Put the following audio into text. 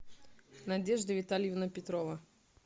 надежда витальевна петрова